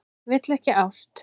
Vill ekki ást.